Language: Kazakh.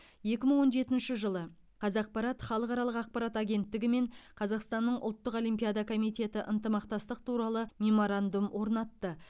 екі мың он жетінші жылы қазақпарат халықаралық ақпарат агенттігі мен қазақстанның ұлттық олимпиада комитеті ынтымақтастық туралы меморандум орнатты